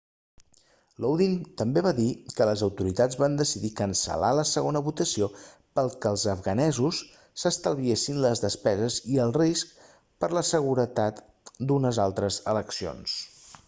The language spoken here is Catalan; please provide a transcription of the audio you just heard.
lodin també va dir que les autoritats van decidir cancel·lar la segona votació perquè els afganesos s'estalviessin les despeses i el risc per a la seguretat d'unes altres eleccions